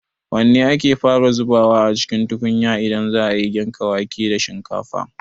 Wanne ake fara zubawa a cikin tukunya idan za a yi girka wake da shinkafa?